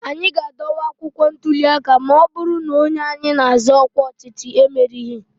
anyị ga-adọwa akwụkwọ ntụli aka ma ọ bụrụ na onye anyị na-azọ ọkwa ọchịchị merighị